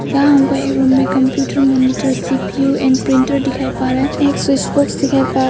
यह हमको एक रूम में computer monitor CPU and printer दिखाई पड़ रहा है एक स्विच बॉक्स दिखाई पड़--